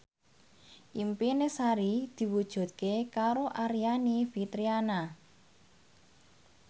impine Sari diwujudke karo Aryani Fitriana